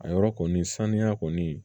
A yɔrɔ kɔni saniya kɔni